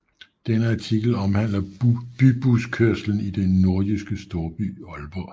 Denne artikel omhandler bybuskørslen i den Nordjyske storby Aalborg